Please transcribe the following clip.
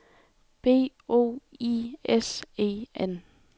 B O I S E N